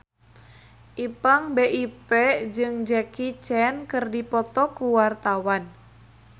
Ipank BIP jeung Jackie Chan keur dipoto ku wartawan